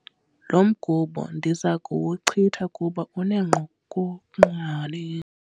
Lo mgubo ndiza kuwuchitha kuba unengqokoqwane.